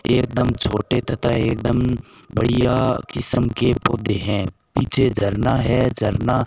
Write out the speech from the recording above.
एकदम छोटे तथा एकदम बढ़िया किस्म के पौधे हैं पीछे धारणा है झरना --